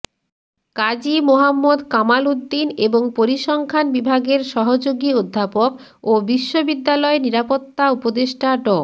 কাজী মোহাম্মদ কামাল উদ্দিন এবং পরিসংখ্যান বিভাগের সহযোগী অধ্যাপক ও বিশ্ববিদ্যালয় নিরাপত্তা উপদেষ্টা ড